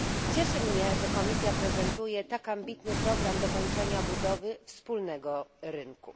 Cieszy mnie, że Komisja prezentuje tak ambitny program dokończenia budowy wspólnego rynku.